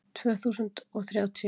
Tvö þúsund og þrjátíu